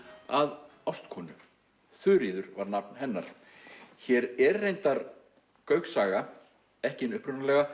að ástkonu Þuríður var nafn hennar hér er reyndar Gaukssaga ekki hin upprunalega